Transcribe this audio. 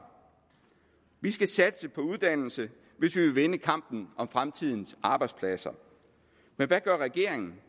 vi skal satse på uddannelse hvis vi vil vinde kampen om fremtidens arbejdspladser men hvad gør regeringen